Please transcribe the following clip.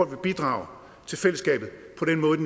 vil bidrage til fællesskabet på den måde